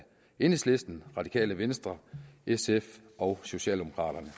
enhedslisten radikale venstre sf og socialdemokraterne